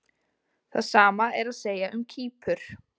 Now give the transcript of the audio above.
Það sama er að segja um Kýpur.